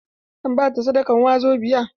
Zan ba ta sadakan wazobiya.